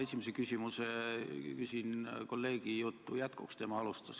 Ma küsin esimese küsimuse kolleegi küsimuse jätkuks, tema alustas.